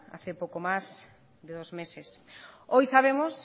hace poco más de dos meses hoy sabemos